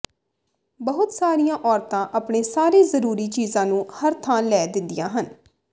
ਬਹੁਤ ਸਾਰੀਆਂ ਔਰਤਾਂ ਆਪਣੇ ਸਾਰੇ ਜ਼ਰੂਰੀ ਚੀਜ਼ਾਂ ਨੂੰ ਹਰ ਥਾਂ ਲੈ ਦਿੰਦੀਆਂ ਹਨ